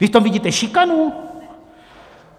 Vy v tom vidíte šikanu?